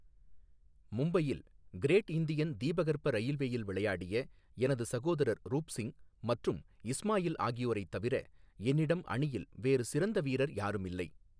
மும்பையில் great Indian தீபகற்ப ரயில்வேயில் விளையாடிய எனது சகோதரர் ரூப் சிங் மற்றும் இஸ்மாயில் ஆகியோரைத் தவிர, என்னிடம் அணியில் வேறு சிறந்த வீரர் யாரும் இல்லை.